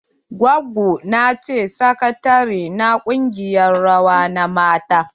Gwaggo na ce sakatare na ƙungiyar rawa na mata.